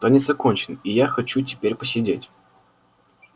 танец окончен и я хочу теперь посидеть